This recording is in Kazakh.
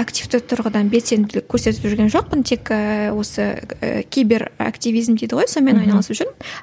активті тұрғыдан белсенділік көрсетіп жүрген жоқпын тек ііі осы і киберактивизм дейді ғой сонымен айналысып жүрмін